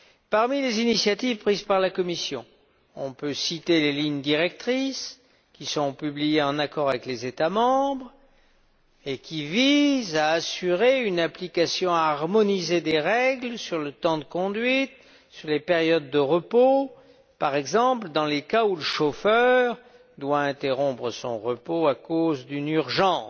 Parmi les initiatives prises par la Commission, on peut citer les lignes directrices, qui seront publiées en accord avec les États membres, et qui visent à assurer une application harmonisée des règles sur le temps de conduite, sur les périodes de repos, par exemple dans les cas où le chauffeur doit interrompre son repos à cause d'une urgence.